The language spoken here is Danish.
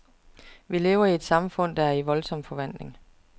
Vi lever i et samfund, der er i voldsom forvandling.